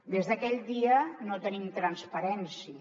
des d’aquell dia no tenim transparència